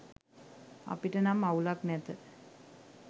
අපිට නම් අවුලක් නැත.